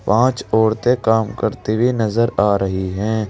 पांच औरते काम करती हुई नजर आ रही हैं।